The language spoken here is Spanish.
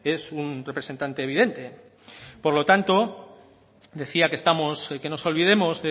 es un representante evidente por lo tanto decía que estamos que nos olvidemos